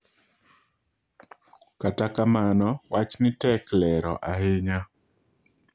kata kamano wachni tek lero ahinya.